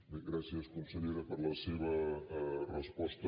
bé gràcies consellera per la seva resposta